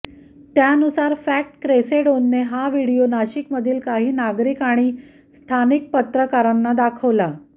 त्यानुसार फॅक्ट क्रेसेंडोने हा व्हिडियो नाशिकमधील काही नागरिक आणि स्थानिक पत्रकारांना दाखवला